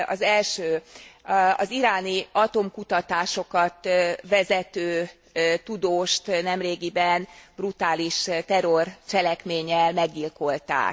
Az első az iráni atomkutatásokat vezető tudóst nemrégiben brutális terrorcselekménnyel meggyilkolták.